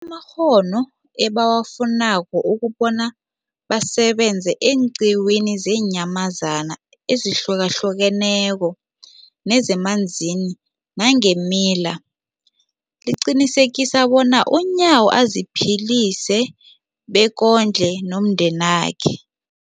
amakghono ebawafunako ukobana basebenze eenqiwini zeenyamazana ezihlukahlukeneko nezemanzini nangeemila, liqinisekisa bona uNyawo aziphilise bekondle nomndenakhe.